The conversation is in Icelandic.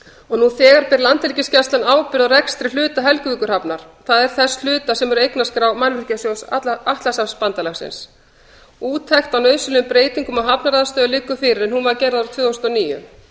og nú þegar ber landhelgisgæslan ábyrgð á rekstri hluta helguvíkurhafnar það er þess hluta sem er á eignaskrá mannvirkjasjóðs atlantshafsbandalagsins úttekt á nauðsynlegum breytingum á hafnaraðstöðu liggur fyrir en hún var gerð árið tvö þúsund og níu